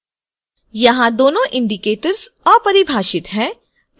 यहाँ दोनों indicators अपरिभाषित हैं